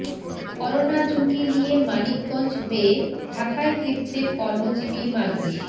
corona ঝুঁকি নিয়ে মানিকগঞ্জ হয়ে ঢাকায় ফিরছে কর্মজীবী মানুষ